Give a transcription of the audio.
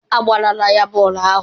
Agbalaala ya bọọlụ ahụ.